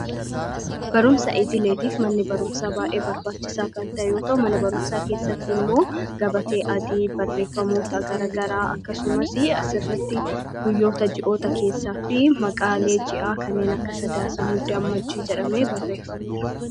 barumsaa idileetiif manni barumsaa baa'ee barbaachisaa kan ta'e yoota mana barumsaa keessatti immoo gabatee adii barreeffamoota gara garaa akkasumas asrratti guyyoota ji'oota keessaa fi maqaalee ji'aa kanneen akka sadaasa mudda ammajjii jedhame barreeffameera